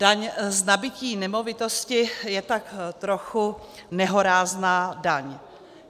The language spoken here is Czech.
Daň z nabytí nemovitosti je tak trochu nehorázná daň.